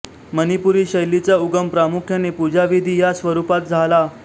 मणिपुरी शैलीचा उगम प्रामुख्याने पूजाविधी या स्वरूपात झाला